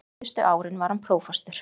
Síðustu árin var hann prófastur.